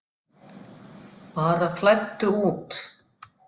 Bara flæddu út.